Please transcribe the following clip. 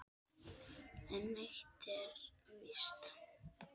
En eitt er víst